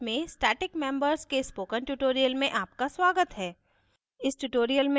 c ++ में static members के spoken tutorial में आपका स्वागत है